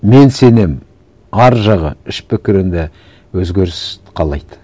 мен сенемін ар жағы іш пікірінде өзгеріс қалайды